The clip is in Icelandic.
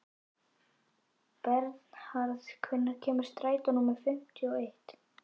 Bernharð, hvenær kemur strætó númer fimmtíu og eitt?